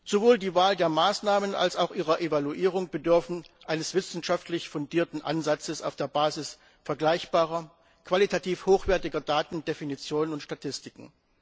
Sowohl die Wahl der Maßnahmen als auch ihre Evaluierung bedürfen eines wissenschaftlich fundierten Ansatzes auf der Basis vergleichbarer, qualitativ hochwertiger Daten, Definitionen und Statistiken.